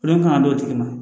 kan ka d'o tigi ma